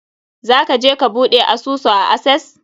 Za ka je ka buɗe asusu a Access?